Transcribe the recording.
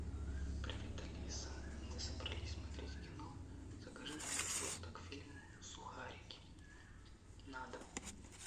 привет алиса мы собрались смотреть кино закажи нам пожалуйста к фильму сухарики на дом